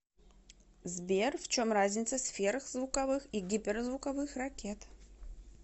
сбер в чем разница сверхзвуковых и гиперзвуковых ракет